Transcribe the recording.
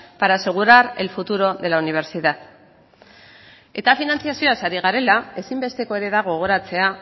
para asegurar el futuro de la universidad eta finantzazioaz ari garela ezinbesteko ere da gogoratzea